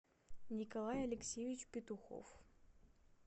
николай алексеевич петухов